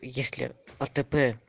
если атб